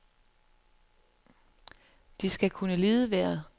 De skal kunne lide vejret.